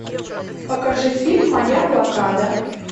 покажи фильм моя блокада